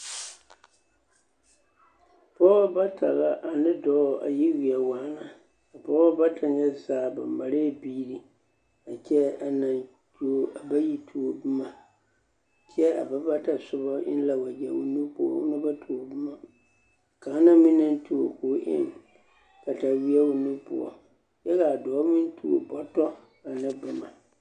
Pɔɔbɔ bata la ane dɔɔ a yi weɛ waana a pɔɔbɔ bata nyɛ zaa ba marɛɛ biiri kyɛ a bayi tuo boma kyɛ a ba bata soba eŋ la waɡyɛ o nu poɔ ona ba tuo boma kaŋa na meŋ na tuo ka o eŋ kataweɛ o nu poɔ kyɛ ka a dɔɔ meŋ tuo bɔtɔ ane boma.